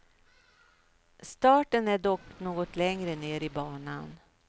Starten är dock något längre ner i banan.